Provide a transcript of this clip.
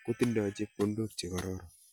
ako kunu chepkondok chechang ako biik che tindoi lagok ing sukul ko nyoru chepkondok che boishe